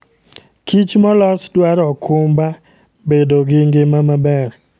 Kich molos dwaro okumba bedo gi ngima maber.